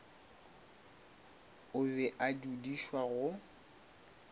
o be a dudišwa go